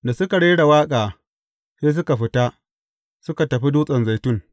Da suka rera waƙa, sai suka fita, suka tafi Dutsen Zaitun.